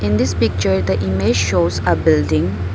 In this picture the image shows a building.